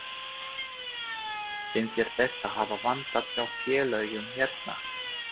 Finnst þér þetta hafa vantað hjá félögum hérna?